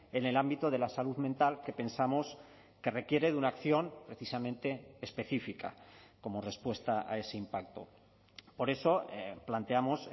en el ámbito de la salud mental que pensamos que requiere de una acción precisamente específica como respuesta a ese impacto por eso planteamos